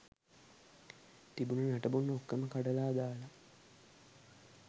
තිබුන නටබුන් ඔක්කොම කඩල දාල